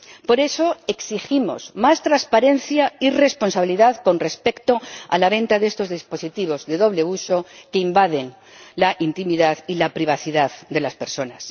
Por eso, exigimos más transparencia y responsabilidad con respecto a la venta de estos dispositivos de doble uso que invaden la intimidad y la privacidad de las personas.